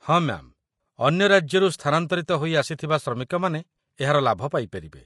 ହଁ ମ୍ୟା'ମ୍, ଅନ୍ୟ ରାଜ୍ୟରୁ ସ୍ଥାନାନ୍ତରିତ ହୋଇ ଆସିଥିବା ଶ୍ରମିକମାନେ ଏହାର ଲାଭ ପାଇପାରିବେ